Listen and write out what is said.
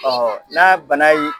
n'a bana ye